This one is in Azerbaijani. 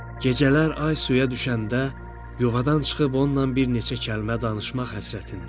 Gecələr ay suya düşəndə yuvadan çıxıb onunla bir neçə kəlmə danışmaq həsrətində idi.